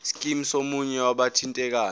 scheme somunye wabathintekayo